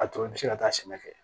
A tɔ bɛ se ka taa sɛnɛ kɛ